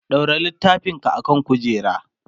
ɗaura littafin ka akan kujera!